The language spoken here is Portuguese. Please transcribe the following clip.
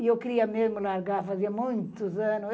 E eu queria mesmo largar, fazia muitos anos.